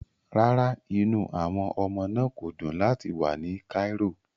Rárá, inú àwọn ọmọ náà kò dùn láti wà ní Cairo